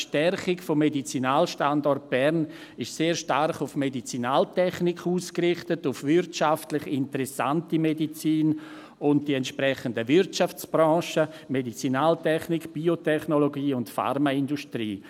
Die Stärkung des Medizinalstandorts Bern ist sehr stark auf Medizinaltechnik, auf wirtschaftlich interessante Medizin und auf die entsprechenden Wirtschaftsbranchen ausgerichtet: Medizinaltechnik, Biotechnologie und Pharmaindustrie.